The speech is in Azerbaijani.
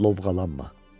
Lovğalanma.